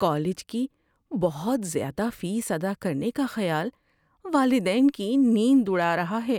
College کی بہت زیادہ فیس ادا کرنے کا خیال والدین کی نیند اڑا رہا ہے۔